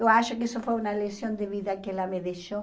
Eu acho que isso foi uma lição de vida que ela me deixou.